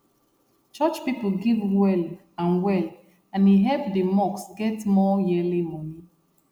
church people give well and well and e help di mosque get more yearly money